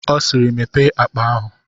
Ọ siiri, Mepee akpa ahụ!